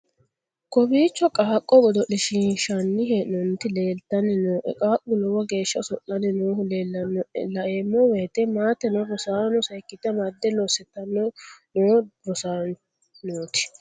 kowiicho qaaqo godo'lishshiinshanni hee'nooniti leeltanni nooe qaaqu lowo geeshsha oso'lanni noohu leellannoe laeemmo woyte maateno rosaano seekkite amadde lossitanni noo rosaanooti